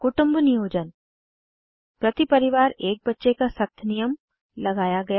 कुटुम्ब नियोजन प्रति परिवार एक बच्चे का सख्त नियम लगाया गया